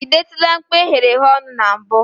ị detụla mkpụ eghereghe ọnụ na mbụ?